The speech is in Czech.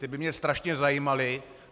Ty by mě strašně zajímaly.